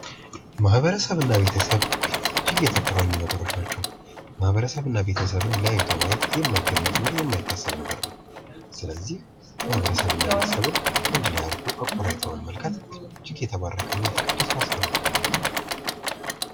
ማህበረሰብ እና ቤተሰብ እጅግ የተቆራኙ ነገሮች ናቸው። ማህበረሰብ እና ቤተሰብን ለያይቶ ማየት የማይታሰብ ነገር ነው። ስለዚህ ማህበረሰብ እና ቤተሰብን አንድ ላይ አድርጎ ቆራኝቶ መመልከት እጅግ የተባረከ ና የተቀደሰ ሀሳብ ነው።